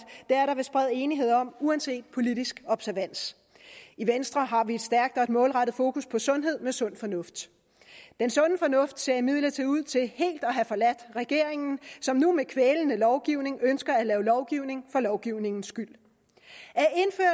er enighed om uanset politisk observans i venstre har vi et stærkt og et målrettet fokus på sundhed med sund fornuft den sunde fornuft ser imidlertid ud til helt at have forladt regeringen som nu med kvælende lovgivning ønsker at lave lovgivning for lovgivningens skyld